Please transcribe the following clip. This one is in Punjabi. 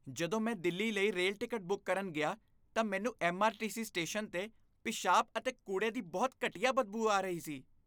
ਜਦੋਂ ਮੈਂ ਦਿੱਲੀ ਲਈ ਰੇਲ ਟਿਕਟ ਬੁੱਕ ਕਰਨ ਗਿਆ ਤਾਂ ਮੈਨੂੰ ਐੱਮ.ਆਰ.ਟੀ.ਐੱਸ. ਸਟੇਸ਼ਨ 'ਤੇ ਪਿਸ਼ਾਬ ਅਤੇ ਕੂੜੇ ਦੀ ਬਹੁਤ ਘਟੀਆ ਬਦਬੂ ਆ ਰਹੀ ਸੀ।